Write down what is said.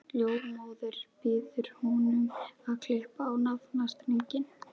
Ljósmóðirin býður honum að klippa á naflastrenginn.